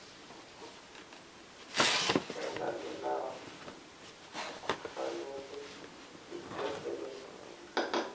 elandelako kufanele iphekelele